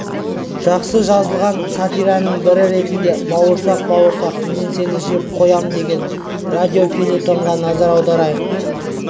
жақсы жазылған сатираның бірі ретінде бауырсақ бауырсақ мен сені жеп қоям деген радиофельетонға назар аударайық